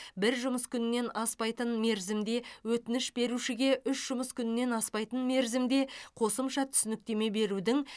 бір жұмыс күнінен аспайтын мерзімде өтініш берушіге үш жұмыс күнінен аспайтын мерзімде қосымша түсініктеме берудің